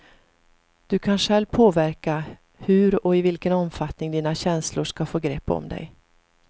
Du kan själv påverka hur och i vilken omfattning dina känslor ska få grepp om dig.